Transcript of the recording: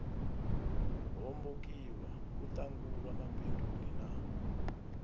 hombokiwa u ṱangulwa mabinduni na